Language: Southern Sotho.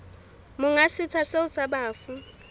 monga setsha seo sa bafu